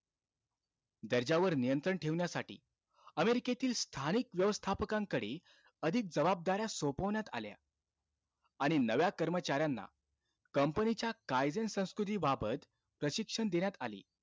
दर्जावर नियंत्रण ठेवण्यासाठी अमेरिकेतील स्थानिक व्यवस्थापकांकडे अधिक जबाबदाऱ्या सोपवण्यात आल्या. आणि नव्या कर्मचाऱ्यांना company च्या कायदे आणि संस्कृतीबाबाबत प्रशिक्षण देण्यात आले.